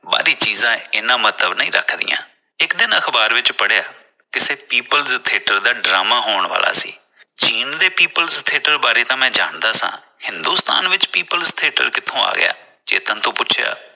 ਬਾਹਰੀ ਚੀਜਾਂ ਇੰਨਾ ਮਹਤਵ ਨਹੀਂ ਰੱਖਦੀਆਂ। ਇਕ ਦਿਨ ਅਖਬਾਰ ਵਿਚ ਪੜਿਆ ਕਿਸੇ people theatre ਦਾ drama ਹੋਣ ਵਾਲਾ ਸੀ ਚੀਨ ਦੇ people theatre ਬਾਰੇ ਤਾਂ ਮੈਂ ਜਾਣਦਾ ਹਾਂ ਹਿੰਦੁਸਤਾਨ ਵਿਚ people theatre ਕਿਥੋਂ ਆ ਗਿਆ ਚੇਤਨ ਤੋਂ ਪੁੱਥਿਆ